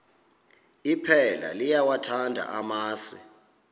iphela liyawathanda amasi